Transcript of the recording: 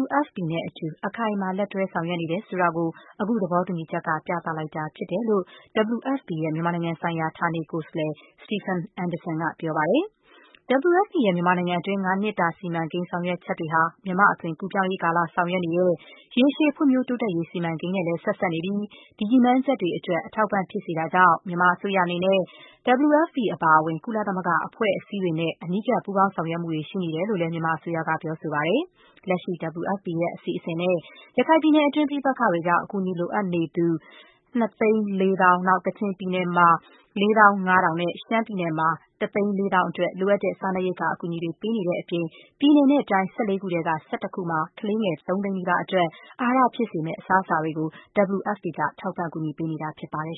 WFP နဲ့အတူ အခိုင်အမာ လက်တွဲ ဆောင်ရွက်နေတယ်ဆိုတာကို အခုသဘောတူညီချက်က ပြသလိုက်တာဖြစ်ကြောင်း WFP ရဲ့ မြန်မာနိုင်ငံဆိုင်ရာ ဌာနေကိုယ်စားလှယ် Stephen Anderson က ပြောပါတယ်။ WFP ရဲ့ မြန်မာနိုင်ငံတွင်း ၅ နှစ် စီမံကိန်း ဆောင်ရွက်ချက်တွေဟာ မြန်မာ့အသွင်ကူးပြောင်းရေး ကာလ ဆောင်ရွက်နေတဲ့ ရေရှည်ဖွံ့ဖြိုးတိုးတက်ရေး စီမံကိန်းနဲ့လည်း ဆက်စပ်နေပြီး ဒီရည်မှန်းချက်တွေအတွက် အထောက်အပံ့ ဖြစ်စေတာကြောင့် မြန်မာအစိုးရအနေနဲ့ WFP အပါအဝင် ကုလသမဂ္ဂအဖွဲ့အစည်းတွေနဲ့ အနီးကပ် ပူးပေါင်းဆောင်ရွက်မှုတွေ ရှိနေကြောင်း မြန်မာအစိုးရကလည်း ပြောဆိုထားပါတယ်။ လက်ရှိ WFP ရဲ့ အစီအစဉ်နဲ့ ရခိုင်ပြည်နယ်တွင်း ပဋိပက္ခတွေကြောင့် အကူအညီလိုအပ်နေသူ ၂၄၀,၀၀၀၊ ကချင်ပြည်နယ်မှာ ၄၅,၀၀၀ နဲ့ ရှမ်းပြည်နယ်မှာ ၁၄,၀၀၀ အတွက် လိုအပ်တဲ့ စားနပ်ရိက္ခာ အကူအညီတွေ ပေးနေတဲ့အပြင် ပြည်နယ်နဲ့တိုင်း ၁၄ ခုထဲက ၁၁ ခုမှာ ကလေးငယ် ၃ သိန်းနီးပါးအတွက် အာဟာရဖြစ်စေမယ့် အစားအစာတွေကို WFP က ထောက်ပံ့ပေးနေတာ ဖြစ်ပါတယ်